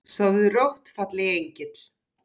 Sofðu rótt fallegi engill.